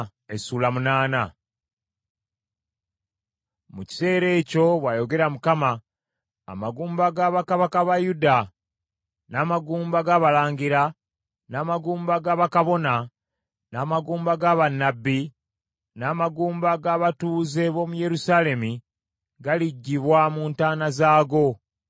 “Mu kiseera ekyo, bw’ayogera Mukama , amagumba ga bakabaka ba Yuda, n’amagumba g’abalangira, n’amagumba ga bakabona, n’amagumba ga bannabbi, n’amagumba g’abatuuze b’omu Yerusaalemi galiggyibwa mu ntaana zaago.